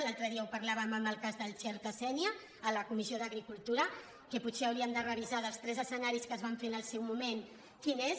l’altre dia ho parlàvem en el cas del xerta sénia a la comissió d’agricultura que potser hauríem de revisar dels tres escenaris que es van fer en el seu moment quin és